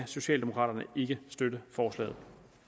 socialdemokraterne ikke støtte forslaget